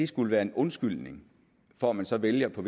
skulle være en undskyldning for at man så vælger på